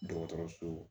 Dɔgɔtɔrɔso